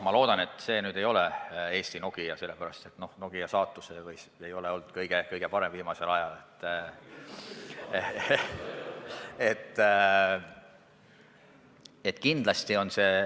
Ma loodan, et see siiski ei ole Eesti Nokia, sest Nokia saatus ei ole viimasel ajal just kõige parem olnud.